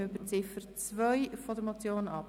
Wir stimmen über die Ziffer 2 der Motion ab.